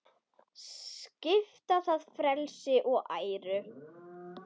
Svipta það frelsi og æru.